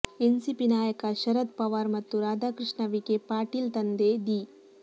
NCP ನಾಯಕ ಶರದ್ ಪವಾರ್ ಮತ್ತು ರಾಧಾಕೃಷ್ಣ ವಿಖೇ ಪಾಟೀಲ್ ತಂದೆ ದಿ